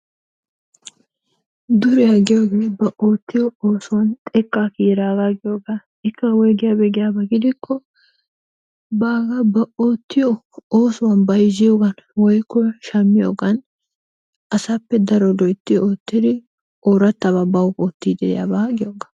Duriya giyogee ba oottiyo oosuwan xekkaa kiyiraagaa giyogaa. Ikka woygiyagee giyabaa keena gidikko baagaa ba oottiyo oosuwan bayzziyogan woykko shammiyogan asappe daro loytti oottiri oorattabaa bawu ootti de'iyabaa giyogaa.